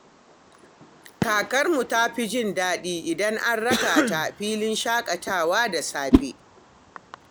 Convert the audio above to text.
Kakarmu ta fi jin daɗi idan an raka ta filin shakatawa da safe.